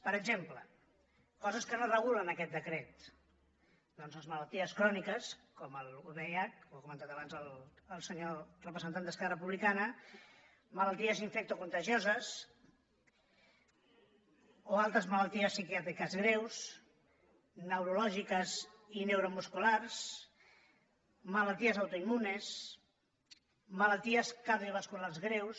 per exemple coses que no es regulen en aquest decret doncs les malalties cròniques com el vih ho ha comentat abans el senyor representant d’esquerra republicana malalties infectocontagioses o altres malalties psiquiàtriques greus neurològiques i neuromusculars malalties autoimmunes malalties cardiovasculars greus